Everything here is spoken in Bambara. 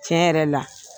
Tiɲɛ yɛrɛ la